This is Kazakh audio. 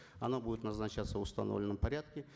оно будет назначаться в установленном порядке